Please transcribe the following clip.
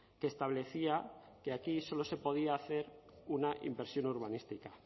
que establecía que aquí solo se podía hacer una inversión urbanística